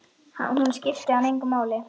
Hún skipti hann engu máli.